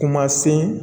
Kuma sen